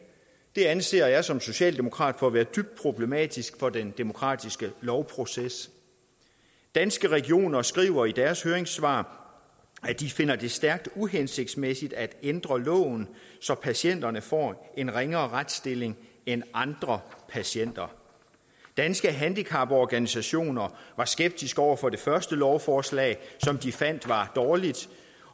det anser jeg som socialdemokrat for at være dybt problematisk for den demokratiske lovproces danske regioner skriver i deres høringssvar at de finder det stærkt uhensigtsmæssigt at ændre loven så patienterne får en ringere retsstilling end andre patienter danske handicaporganisationer var skeptiske over for det første lovforslag som de fandt var dårligt